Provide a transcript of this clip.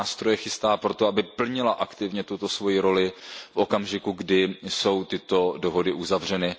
Jaké nástroje chystá proto, aby plnila aktivně svoji roli v okamžiku, kdy jsou tyto dohody uzavřeny?